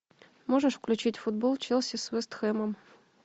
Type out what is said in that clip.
можешь включить футбол челси с вест хэмом